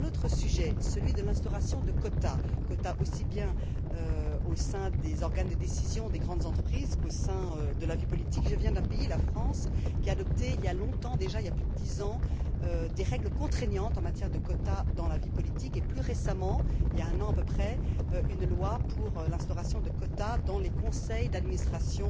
Sur un autre sujet, celui de l'instauration de quotas, tant au sein des organes de décision des grandes entreprises qu'au sein de la vie politique, je viens d'un pays la France qui a adopté, il y a longtemps déjà plus de dix ans des règles contraignantes en matière de quotas dans la vie politique et plus récemment il y a un an à peu près une loi pour l'instauration de quotas dans les conseils d'administration